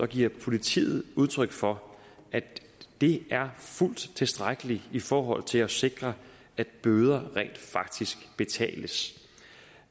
giver politiet udtryk for at det er fuldt tilstrækkeligt i forhold til at sikre at bøder rent faktisk betales